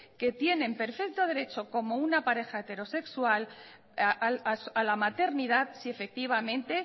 que tienen perfecto derecho como una pareja heterosexual a la maternidad si efectivamente